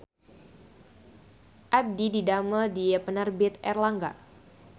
Abdi didamel di Penerbit Erlangga